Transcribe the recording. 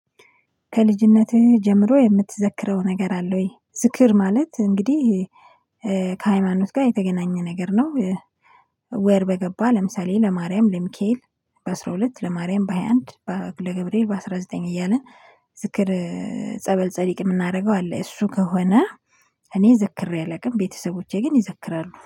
ከልጅነትህ ጀምሮ የምትዘክረው ነገር አለ ወይ? ዝክር ማለት እንግዲህ ከሃይማኖት ጋር የተገናኘ ነገር ነው። ወር በገባ ለምሳሌ ለማርያም ለሚካኤል። በአራ ሁለት ለማርያም በሃያ አንድ። ለገብርኤል በአስራ ዘጠኝ እያልን ዝክር። ጸበል ጸዲቅ የምናደርገው አለ እሱ ከሆነ። እኔ ዘክሬ አላውቅም ቤተሰቦቼ ግን ይዘክራሉ